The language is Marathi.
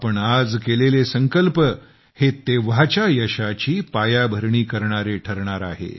आपण आज केलेले संकल्प हे तेव्हाच्या यशाची पायाभरणी करणारे ठरणार आहेत